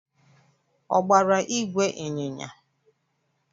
Ọ gbara ìgwè ịnyịnya?